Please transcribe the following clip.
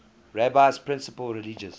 rabbi's principal religious